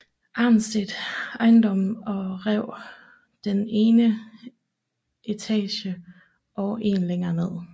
Arnstedt ejendommen og rev den ene etage og en længe ned